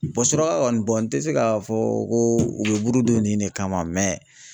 kɔni n tɛ se k'a fɔ ko u bɛ burudon nin de kama